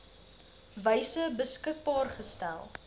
wyse beskikbaar gestel